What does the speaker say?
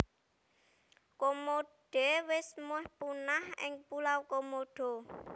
Komode wis meh punah ning Pulau Komodo